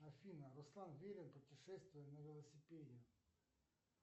афина руслан верин путешествие на велосипеде